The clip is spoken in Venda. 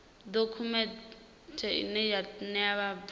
dokhumenthe ine ya ṋea vhabvann